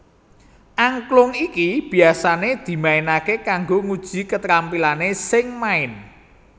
Angklung iki biasané dimainaké kanggo nguji ketrampilané sing main